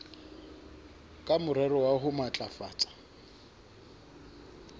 ka morero wa ho matlafatsa